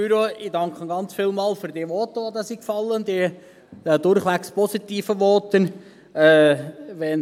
Ich danke vielmals für die durchwegs positiven Voten, die gefallen sind.